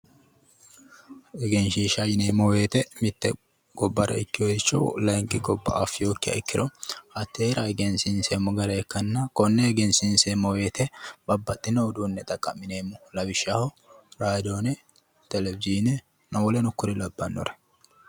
Egenshiishsha yineemmo woyiite mitte gobbara ikkeyooricho layeenki gobba affinokkiha ikkiro hatteera egensiinseemmo gara ikkanna konne egensiinseemmo woyiite babbaxxeyo uduunne xaqqa'mineemmo lawishshaho radoone televizhiine woleno kuri lawannore